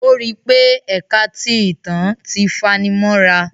O ri pé ẹka ti ìtàn ti fanimọra